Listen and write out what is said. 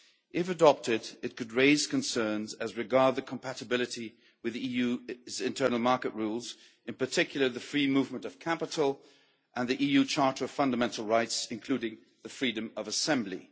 If adopted, it could raise concerns as regards the compatibility with the EU's internal market rules, in particular the free movement of capital and the EU Charter of Fundamental Rights, including the freedom of assembly.